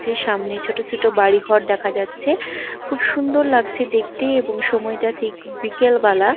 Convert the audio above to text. যে সামনে ছোট ছোট বাড়ি ঘর দেখা যাচ্ছে খুব সুন্দর লাগছে দেখতে এবং সময়টা ঠিক বিকেলবেলা।